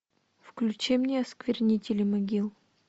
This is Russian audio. включи мне осквернители могил